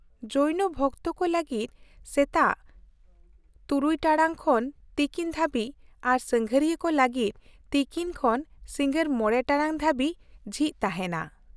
-ᱡᱳᱭᱱᱚ ᱵᱷᱚᱠᱛᱚ ᱠᱚ ᱞᱟᱹᱜᱤᱫ ᱥᱮᱛᱟᱜ ᱖ ᱴᱟᱲᱟᱝ ᱠᱷᱚᱱ ᱛᱤᱠᱤᱱ ᱫᱷᱟᱹᱵᱤᱡ ᱟᱨ ᱥᱟᱸᱜᱷᱟᱨᱤᱭᱟᱹ ᱠᱚ ᱞᱟᱹᱜᱤᱫ ᱛᱤᱠᱤᱱ ᱠᱷᱚᱱ ᱥᱤᱸᱜᱟᱹᱲ ᱕ ᱴᱟᱲᱟᱝ ᱫᱷᱟᱹᱵᱤᱡ ᱡᱷᱤᱡ ᱛᱟᱦᱮᱸᱱᱟ ᱾